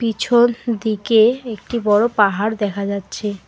পিছন দিকে একটি বড় পাহাড় দেখা যাচ্ছে।